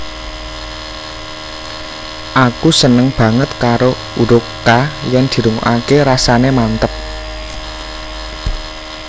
Aku seneng banget karo hurup K yen dirungokake rasane manteb